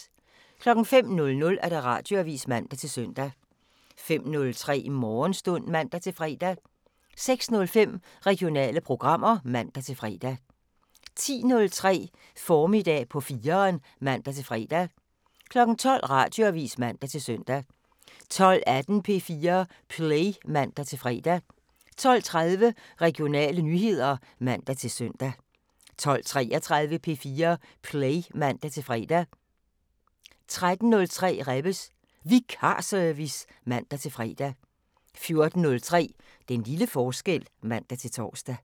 05:00: Radioavisen (man-søn) 05:03: Morgenstund (man-fre) 06:05: Regionale programmer (man-fre) 10:03: Formiddag på 4'eren (man-fre) 12:00: Radioavisen (man-søn) 12:18: P4 Play (man-fre) 12:30: Regionale nyheder (man-søn) 12:33: P4 Play (man-fre) 13:03: Rebbes Vikarservice (man-fre) 14:03: Den lille forskel (man-tor)